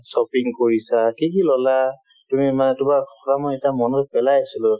shopping কৰিছা কি কি ল'লা তুমি মানে তোমাৰ কথা মই এটা মনত পেলাই আছিলো